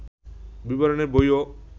বিবরণের বইও